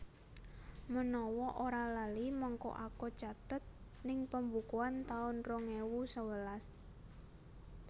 Menawa ora lali mengko aku catet ning pembukuan taun rong ewu sewelas